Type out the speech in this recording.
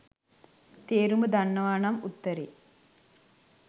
තේරුම දන්නවා නම් උත්තරේ